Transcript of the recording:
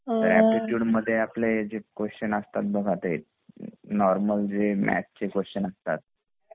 तर एप्टिट्यूड मध्ये जे आपले क्वेस्शन्स असतात बघा ते नॉर्मल जे मॅथ्स चे क्वेस्शन्स असतात